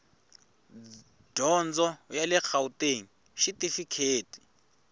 dyondzo ya le gauteng xitifikheyiti